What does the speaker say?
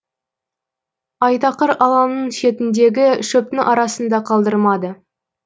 айтақыр алаңның шетіндегі шөптің арасын да қалдырмады